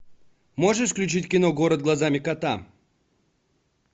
можешь включить кино город глазами кота